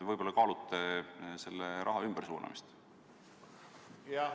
Võib-olla kaalute selle raha ümbersuunamist?